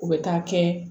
U bɛ taa kɛ